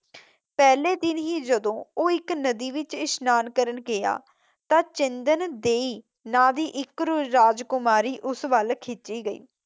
ਪਹਿਲੇ ਦਿਨ ਹੀ ਜਦੋਂ ਉਹ ਇੱਕ ਨਦੀ ਵਿੱਚ ਇਸ਼ਨਾਨ ਕਰਨ ਗਿਆ ਤਾਂ ਚਿੰਦਨ ਦੇਈ ਨਾਂ ਦੀ ਇੱਕ ਰਾਜਕੁਮਾਰੀ ਉਸ ਵੱਲ ਖਿੱਚੀ ਗਈ।